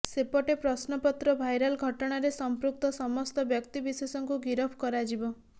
ସେପଟେ ପ୍ରଶ୍ନପତ୍ର ଭାଇରାଲ୍ ଘଟଣାରେ ସଂପୃକ୍ତ ସମସ୍ତ ବ୍ୟକ୍ତିବିଶେଷଙ୍କୁ ଗିରଫ କରାଯିବ